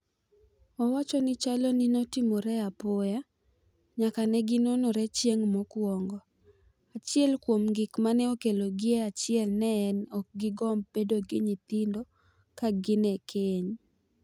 Owacho ni chalo ni notimore apoya nyaka negi nonore chieng' mokwongo, achiel kuom gik mane okelo gi e achiel ne en ni okgi gomb bedo gi nyithindo ka gin e keny